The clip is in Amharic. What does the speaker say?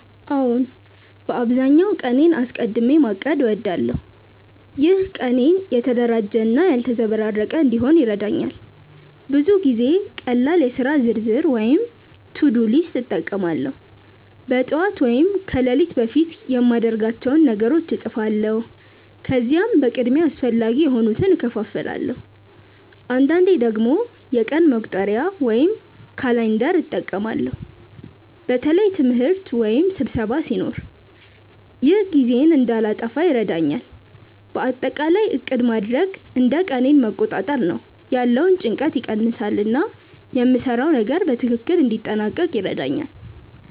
አዎን፣ በአብዛኛው ቀኔን አስቀድሚ ማቀድ እወዳለሁ። ይህ ቀኔን የተደራጀ እና ያልተዘበራረቀ እንዲሆን ይረዳኛል። ብዙ ጊዜ ቀላል የሥራ ዝርዝር (to-do list) እጠቀማለሁ። በጠዋት ወይም ከሌሊት በፊት የማድርጋቸውን ነገሮች እጻፋለሁ፣ ከዚያም በቅድሚያ አስፈላጊ የሆኑትን እከፋፍላለሁ። አንዳንዴ ደግሞ የቀን መቁጠሪያ (calendar) እጠቀማለሁ በተለይ ትምህርት ወይም ስብሰባ ሲኖር። ይህ ጊዜዬን እንዳልጠፋ ይረዳኛል። በአጠቃላይ ዕቅድ ማድረግ እንደ ቀኔን መቆጣጠር ነው፤ ያለውን ጭንቀት ይቀንሳል እና የምሰራውን ነገር በትክክል እንዲያጠናቅቅ ይረዳኛል።